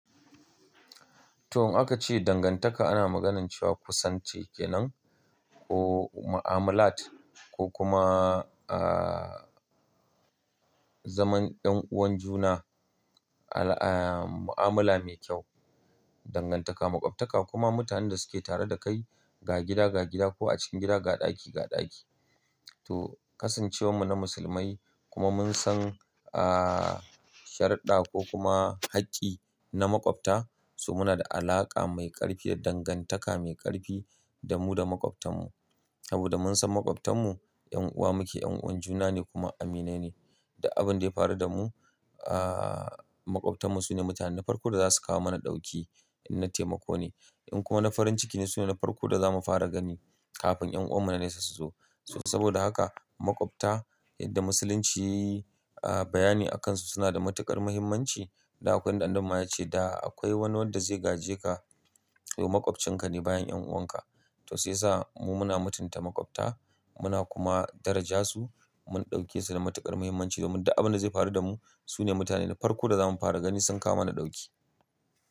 To, aka ce dangantaka ana maganar cewa kusanci kenan ko ma'amalat ko kuma, uh, zaman 'yan'uwan juna al-- uh, ma'amala mai kyau. Dangantaka, maƙwabtaka kuma mutanen da suke tare da kai ga gida ga gida ko a cikin gida ga ɗaki ga ɗaki. To, kasancewar mu na musulmai kuma mun san, uh, sharimda ko kuma hakki na maƙwabta, so muna da alaƙa mai ƙarfi da dangantaka mai ƙarfi da mu da maƙwabtan mu. Saboda mun san maƙwabtan mu 'yan'uwa muke, 'yan'uwan juna ne kuma aminai ne. Duk abin da ya faru da mu, uh, maƙwabtan mu su ne mutane na farko da za su kawo mana ɗauki in na taimako ne. In kuma na farin ciki ne su ne na farko da za mu fara gani kafin 'yan'uwan mu na nesa su zo. So saboda haka maƙwabta yadda musulunci, uh, bayani akansu suna da matuƙar muhimmanci da akwai ɗanɗano ma ya ce da akwai wani wanda zai gaje ka to maƙwabcinka ne bayan 'yan'uwanka. To sai sa mu muna mutunta maƙwabta muna kuma daraja su mun ɗauke su da matuƙar muhimmanci domin duk abin da zai faru da mu su ne mutane na farko da zamu fara gani sun kawo mana ɗauki.